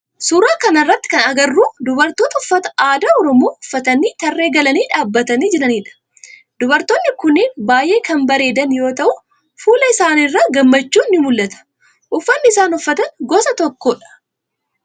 Suuraa kana irratti kana agarru dubartoota uffata aadaa oroomoo uffatanii tarree galanii dhaabbatanii jiranidha. Dubartoonni kunneen baayyee kan bareedan yoo ta'u fuula isaanii irraa gammachuun ni muul'ata. Uffanni isaan uffata gosa tokkodha.